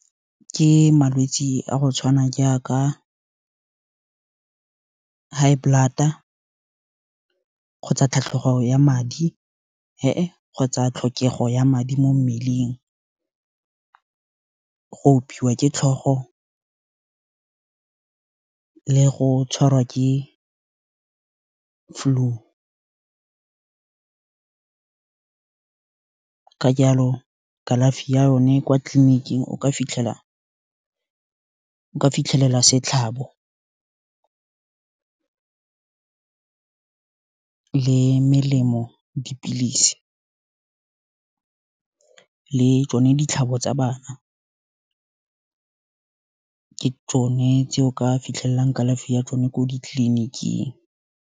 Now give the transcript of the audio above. Ke malwetse a go tshwana jaaka, high blood-a, kgotsa tlhatlhogo ya madi, he e, kgotsa tlhokego ya madi mo mmeleng, go opiwa ke tlhogo, le go tshwarwa ke flu, ka jalo kalafi ya yone, kwa tleliniking o ka fitlhela setlhabo, le melemo, dipilisi, le tsone ditlhabo tsa bana, ka tsone tse o ka fitlhelelang kalafi ya tsone ko ditleliniking.